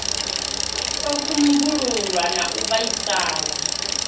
u kumbululwa na u vhaisala